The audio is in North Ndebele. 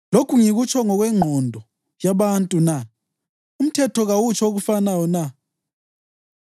Lokhu ngikutsho ngokwengqondo yabantu na? Umthetho kawutsho okufanayo na?